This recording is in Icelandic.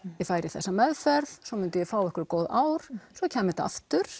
ég færi í þessa meðferð svo myndi ég fá einhver góð ár svo kæmi þetta aftur